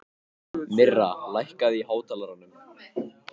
Myrra, lækkaðu í hátalaranum.